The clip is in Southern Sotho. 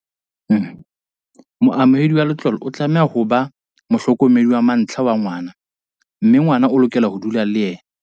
Moamohedi wa letlole o tlameha ho ba mohlokomedi wa mantlha wa ngwana mme ngwana o lokela ho dula le yena.